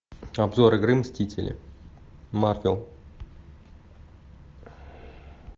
обзор игры мстители марвел